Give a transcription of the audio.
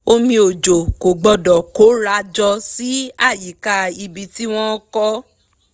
omi òjò kò gbọ́dọ̀ kóra jọ sí àyíká ibi tí wọ́n kọ́